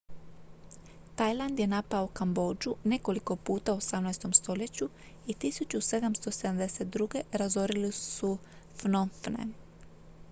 tajland je napao kambodžu nekoliko puta u 18. stoljeću i 1772. razorili su phnom phen